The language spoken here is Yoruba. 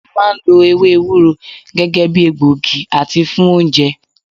A máà ń lo ewé ewúro gẹ́gẹ́ bíi egbògi àti fún oúnjẹ.